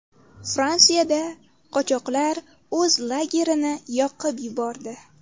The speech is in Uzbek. Fransiyada qochoqlar o‘z lagerini yoqib yubordi.